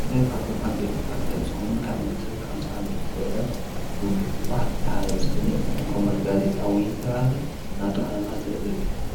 ኣልገ ካብቶም ዓብ ቤቲ ጳታት ዝሆን ካብ ዘምሰት ሓሰዓመ ዝገአ ውዱኅ ሕዋዕት እንተኃለ ዝፍለጥ ዘትቆመልጋዘ ጣዊ ዝተብሃለ ናቱ ኣማ ዘህእ እዩ